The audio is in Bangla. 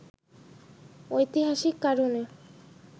ঐতিহাসিক কারণে